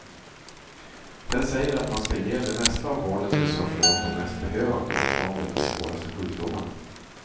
Den säger att man ska ge det mesta av vårdens resurser åt de mest behövande, åt dem med de svåraste sjukdomarna.